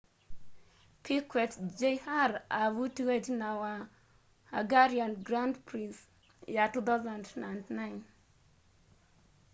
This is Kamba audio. piquet jr avutiwe itina wa hungarian grand prix ya 2009